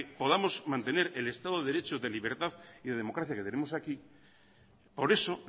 podamos mantener el estado de derecho de libertad y de democracia que tenemos aquí por eso